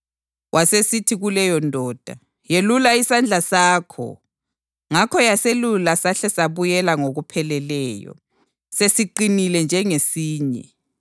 Wasesithi kuleyondoda, “Yelula isandla sakho.” Ngakho yaselula sahle sabuyela ngokupheleleyo, sesiqinile njengesinye.